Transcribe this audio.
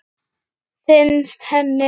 Finnst henni.